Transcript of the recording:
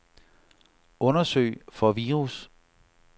Undersøg for virus.